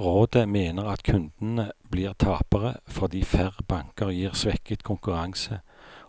Rådet mener at kundene blir tapere, fordi færre banker gir svekket konkurranse,